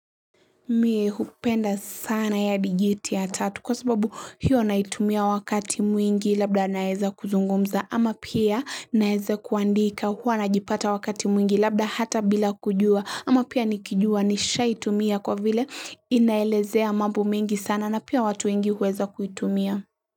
Mie hupenda sana ya digiti ya tatu kwa sababu hiyo naitumia wakati mwingi labda naeza kuzungumza ama pia naeza kuandika huwa najipata wakati mwingi labda hata bila kujua ama pia nikijua nishaitumia kwa vile inaelezea mambo mingi sana na pia watu wengi huweza kuitumia.